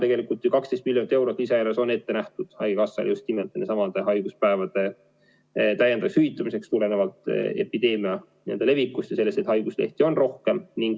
Tegelikult on 12 miljonit eurot lisaeelarvest ette nähtud haigekassale just nimelt nendesamade haiguspäevade täiendavaks hüvitamiseks tulenevalt epideemia levikust ja sellest, et haiguslehti on rohkem.